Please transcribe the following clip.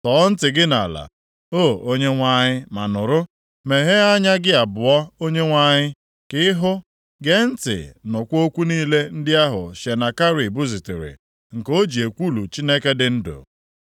Tọọ ntị gị nʼala, o Onyenwe anyị ma nụrụ; meghee anya gị abụọ Onyenwe anyị, ka ịhụ; gee ntị nụkwa okwu niile ndị ahụ Senakerib zitere, nke o ji ekwulu Chineke dị ndụ.